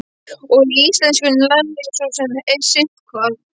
Og í íslenskunni lærði ég svo sem sitthvað.